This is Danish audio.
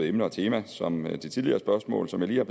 emne og tema som ved det tidligere spørgsmål som jeg